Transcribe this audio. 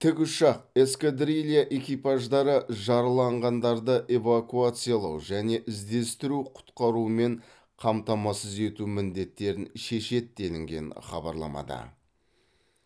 тікұшақ эскадрилья экипаждары жараланғандарды эвакуациялау және іздестіру құтқарумен қамтамасыз ету міндеттерін шешеді делінген хабарламада